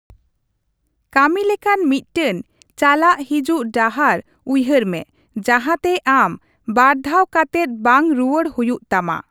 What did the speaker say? ᱠᱟᱹᱢᱤ ᱞᱮᱠᱟᱱ ᱢᱤᱫᱴᱮᱱ ᱪᱟᱞᱟᱜ ᱦᱤᱡᱩᱜ ᱰᱟᱦᱟᱨ ᱩᱭᱦᱟᱹᱨ ᱢᱮ ᱡᱟᱸᱦᱟ ᱛᱮ ᱟᱢ ᱵᱟᱨᱫᱷᱟᱣ ᱠᱟᱛᱮᱫ ᱵᱟᱝ ᱨᱩᱭᱟᱹᱲ ᱦᱩᱭᱩᱜ ᱛᱟᱢᱟ ᱾